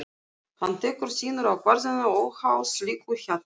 Hann tekur sínar ákvarðanir óháð slíku hjali.